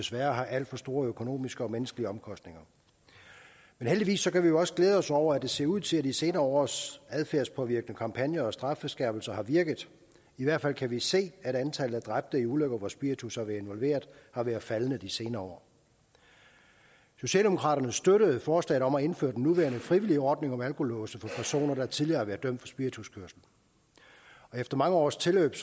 desværre har alt for store økonomiske og menneskelige omkostninger men heldigvis kan vi jo også glæde os over at det ser ud til at de senere års adfærdspåvirkende kampagner og strafskærpelser har virket i hvert fald kan vi se at antallet af dræbte i ulykker hvor spiritus har været involveret har været faldende i de senere år socialdemokraterne støttede forslaget om at indføre den nuværende frivillige ordning om alkolåse for personer der tidligere har været dømt for spirituskørsel efter mange års tilløb